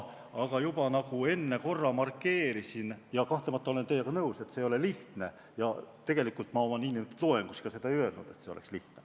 Aga juba enne korra markeerisin – ja kahtlemata olen teiega nõus –, et see ei ole lihtne, ja tegelikult ma oma nn loengus ka seda ei öelnud, et see oleks lihtne.